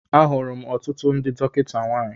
Ahụrụ m ọtụtụ ndị dọkịta nwanyị